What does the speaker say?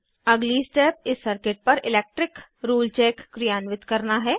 अगली स्टेप इस सर्किट पर इलैक्ट्रिक रूल चेक क्रियान्वित करना है